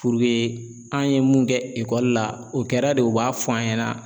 Puruke an ye mun kɛ ekɔli la o kɛra de u b'a fɔ an ɲɛna